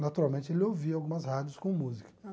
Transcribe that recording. Naturalmente, ele ouvia algumas rádios com música.